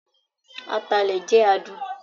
Atalẹ jẹ adun